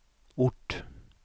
ort